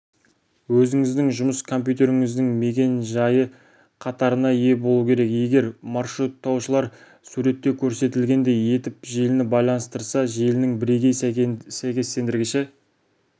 өзіңіздің жұмыс компьютеріңіздің мекен-жайы қатарына ие болу керек егер маршруттаушылар суретте көрсетілгендей етіп желіні байланыстырса желінің бірегей сәйкестендіргіші